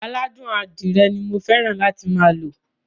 Aládùn adírẹ ni mo fẹ́ràn láti máa lo.